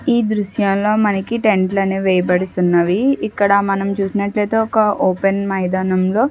ఈ దృశ్యాలో మనకి టెంటు లను వేయబడుతున్నవి. ఇక్కడ మనం చూసినట్లయితే ఒక ఓపెన్ మైదానంలో --